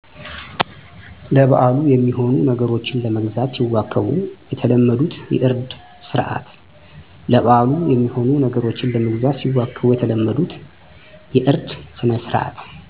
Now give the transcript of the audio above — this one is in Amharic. ለበአሉ የሚሆኑ ነገሮችን ለመግዛት ሲዋከቡ የተለመዱት የእርድ ስነስርዓት